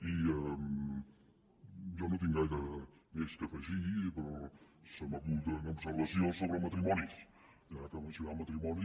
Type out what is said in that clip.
i jo no tinc gaire més a afegir però se m’acut una observació sobre matrimonis ja que mencionava el matrimoni